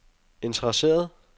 interesseret